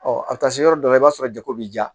Ɔ a bɛ taa se yɔrɔ dɔ la i b'a sɔrɔ jago bɛ ja